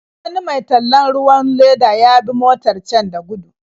Wani mai tallan ruwan leda ya bi motar can da gudu.